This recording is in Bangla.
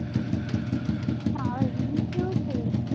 আবার reels এউ ছেড়ে দিলি